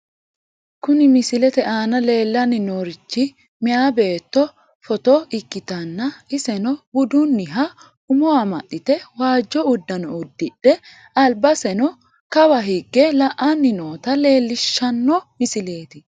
Kuni misilete aana leellanni noorichi meyaa beetto footo ikkitanna, iseno budunniha umo amaxxite waajjo uddano uddidhe, albaseno kawa higge la'anni noota leellishshanno misileeti.